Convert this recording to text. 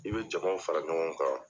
I bɛ jamaw fara ɲɔgɔn kan.